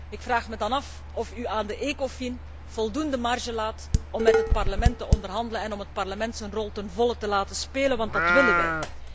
Ik vraag me dan af of u aan de Ecofin voldoende marge laat om met het Parlement te onderhandelen en om het Parlement zijn rol ten volle te laten spelen, want dat willen wij.